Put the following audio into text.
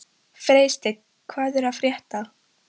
Freysteinn, hvað er að frétta?